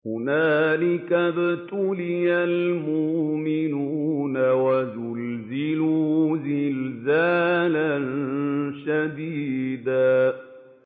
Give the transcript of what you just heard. هُنَالِكَ ابْتُلِيَ الْمُؤْمِنُونَ وَزُلْزِلُوا زِلْزَالًا شَدِيدًا